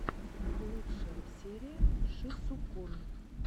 лучшая серия шисукун